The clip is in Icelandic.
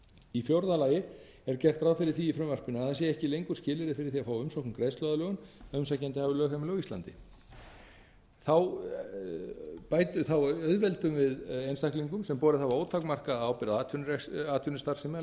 í fjórða lagi er gert ráð fyrir því í frumvarpinu að það sé ekki lengur skilyrði fyrir því að umsókn um greiðsluaðlögun að umsækjandi hafi lögheimili á íslandi þá auðveldum við einstaklingum sem borið hafa ótakmarkaða ábyrgð á atvinnustarfsemi að